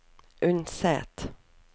Unset